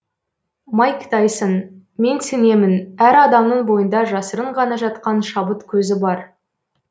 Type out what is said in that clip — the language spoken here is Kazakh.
майк тайсон мен сенемін әр адамның бойында жасырын ғана жатқан шабыт көзі бар